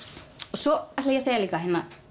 svo ætla ég að segja líka